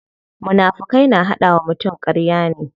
Munafukai na hada wa mutum karya ne.